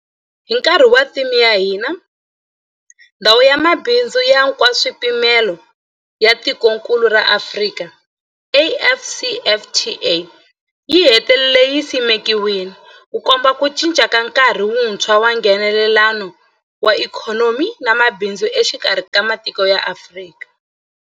Hi nkarhi wa theme ya hina, Ndhawu ya Mabindzu ya Nkaswipimelo ya Tikokulu ra Afrika, AfCFTA, yi hetelele yi simekiwile, Ku komba ku cinca ka nkarhi wuntshwa wa Nghenelelano wa ikhonomi na mabindzu exikarhi ka matiko ya Afrika.